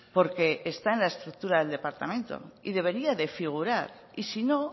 porque está en la estructura del departamento y debería de figurar y si no